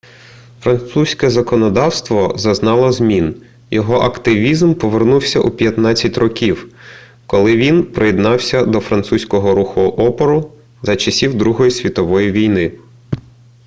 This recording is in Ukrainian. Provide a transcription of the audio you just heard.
французьке законодавство зазнало змін його активізм повернувся у 15 років коли він приєднався до французького руху опору за часів другої світової війни